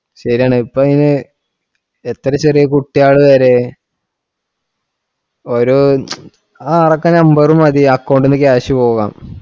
ശരിയാണ് ഇപ്പൊ ഈ എത്ര ചെറിയ കുട്ടിയോള് വരേം ഓരോ ആ അവിടൊക്കെ number മതി account ഇൽ നിന്ന് cash പോവാൻ